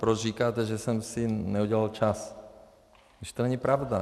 Proč říkáte, že jsem si neudělal čas, když to není pravda?